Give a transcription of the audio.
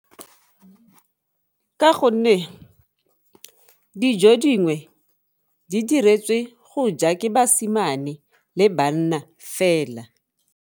Ka gonne dijo dingwe di diretswe go ja ke basimane le banna fela.